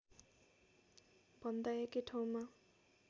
भन्दा एकै ठाउँमा